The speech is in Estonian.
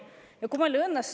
Ja kui meil ei õnnestu …